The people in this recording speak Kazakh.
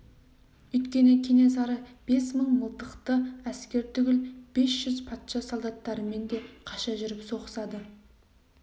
өйткені кенесары бес мың мылтықты әскер түгіл бес жүз патша солдаттарымен де қаша жүріп соғысады